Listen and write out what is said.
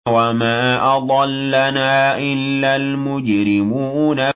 وَمَا أَضَلَّنَا إِلَّا الْمُجْرِمُونَ